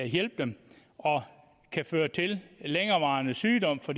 hjælpe dem og kan føre til længerevarende sygdom for